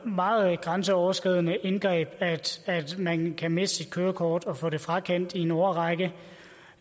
meget grænseoverskridende indgreb at man kan miste sit kørekort og få det frakendt i en årrække